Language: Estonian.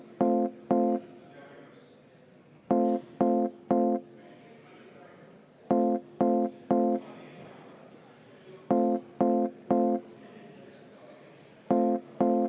V a h e a e g